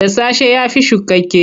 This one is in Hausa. Dasasshe ya fi shukakke.